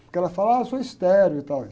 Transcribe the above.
Porque ela fala, ah, eu sou estéril e tal, e